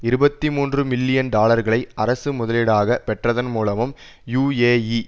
இருபத்தி மூன்று மில்லியன் டாலர்களை அரசு முதலீடாகப் பெற்றதன் மூலமும் யூ ஏ இ